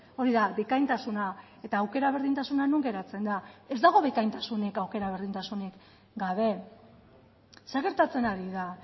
hori da bikaintasuna eta aukera berdintasuna non geratzen da ez dago bikaintasunik aukera berdintasunik gabe zer gertatzen ari da